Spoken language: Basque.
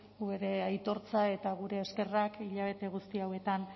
gure aitortza eta gure eskerrak hilabete guzti hauetan